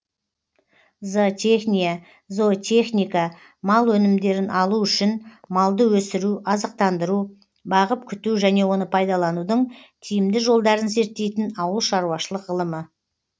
зоотехния зоотехника мал өнімдерін алу үшін малды өсіру азықтандыру бағып күту және оны пайдаланудың тиімді жолдарын зерттейтін ауыл шаруашылық ғылымы